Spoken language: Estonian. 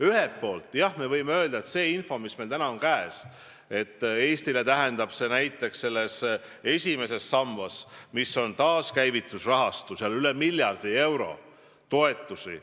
Ühelt poolt, jah, me võime öelda, tuginedes infole, mis meil täna käes on, et Eestile tähendab see näiteks esimesest sambast, mis on taaskäivitusrahastu, rohkem kui miljardi euro ulatuses toetusi.